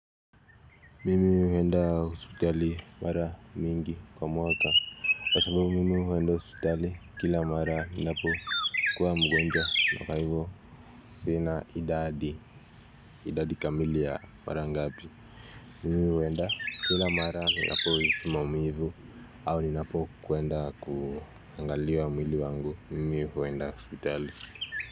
Mimi huenda hospitali mara mingi kwa mwaka kwa sababu mimi huenda hospitali kila mara ninapo kuwa mgonjwa na kwa hivo sina idadi, idadi kamili ya mara ngapi Mimi huenda kila mara ninapo hisi maumivu au ninapo kuenda kuangaliwa mwili wangu mimi huenda hospitali.